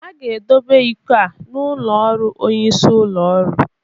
A ga-edobe iko a n'ụlọ ọrụ onyeisi ụlọ ọrụ